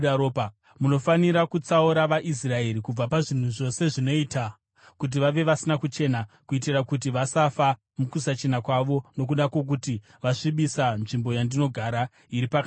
“ ‘Munofanira kutsaura vaIsraeri kubva pazvinhu zvose zvinoita kuti vave vasina kuchena, kuitira kuti vasafa mukusachena kwavo nokuda kwokuti vasvibisa nzvimbo yandinogara, iri pakati penyu.’ ”